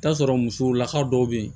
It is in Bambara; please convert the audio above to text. I bi t'a sɔrɔ musow lakaw dɔw bɛ yen